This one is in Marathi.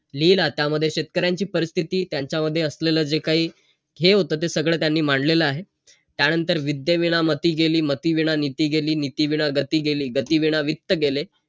माझ्याकडे पैसे नव्हते ना तर कर्ज बिरच हे ते बघायचं नाय का बघत होतो मी .